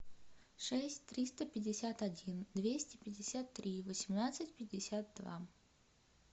шесть триста пятьдесят один двести пятьдесят три восемнадцать пятьдесят два